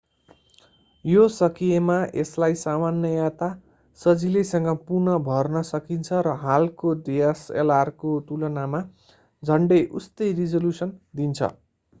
यो सकिएमा यसलाई सामान्यतया सजिलैसँग पुनः भर्न सकिन्छ र हालको dslr को तुलनामा झन्डै उस्तै रिजोल्युसन दिन्छ